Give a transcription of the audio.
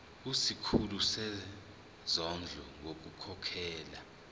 kusikhulu sezondlo ngokukhokhela